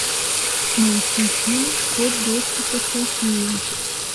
найти фильм код доступа софия